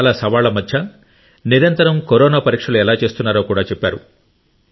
చాలా సవాళ్ళ మధ్య నిరంతరం కరోనా పరీక్షలు ఎలా చేస్తున్నారో కూడా చెప్పారు